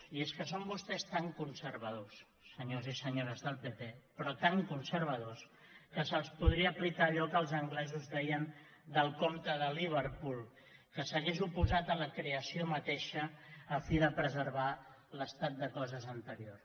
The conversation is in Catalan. i és que són vostès tan conservadors senyors i senyores del pp però tan conservadors que se’ls podria aplicar allò que els anglesos deien del comte de liverpool que s’hauria oposat a la creació mateixa a fi de preservar l’estat de coses anterior